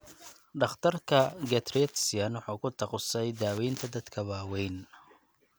Dhakhtarka geriatrician wuxuu ku takhasusay daaweynta dadka waaweyn.